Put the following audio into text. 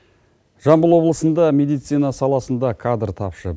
жамбыл облысында медицина саласында кадр тапшы